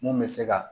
Mun bɛ se ka